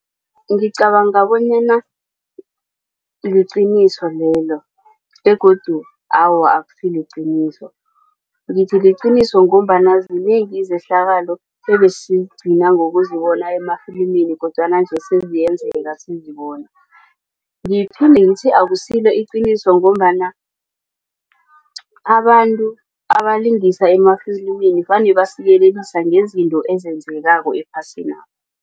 Ngicabanga bonyana liqiniso lelo begodu awa akusiliqiniso. Ngithi liqiniso ngombana zinengi izehlakalo ebesigcina ngokuzibona emafilimini kodwana nje seziyenzeka sizibona. Ngiphinde ngithi akusilo iqiniso ngombana abantu abalingisa emafilimini vane basiyelisa ngezinto ezenzekako ephasinapha.